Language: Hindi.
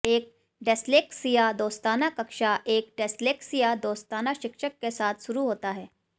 एक डिस्लेक्सिया दोस्ताना कक्षा एक डिस्लेक्सिया दोस्ताना शिक्षक के साथ शुरू होता है